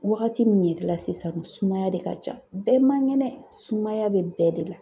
Wagati min yɛrɛ la sisan sumaya de ka ca, bɛɛ man ŋɛnɛ sumaya bɛ bɛɛ de la.